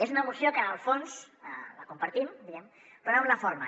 és una moció que en el fons la compartim però no en la forma